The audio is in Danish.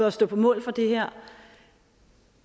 at stå på mål for det her